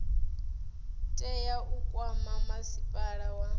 tea u kwama masipala wa